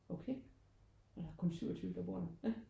Okay er der kun 27 beboere der ja